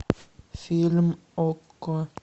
фильм окко